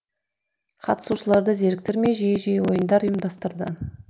қатысушыларды зеріктірмей жиі жиі ойындар ұйымдастырды